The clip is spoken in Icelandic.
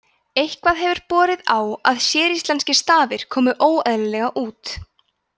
eitthvað hefur borið á að séríslenskir stafir komi óeðlilega út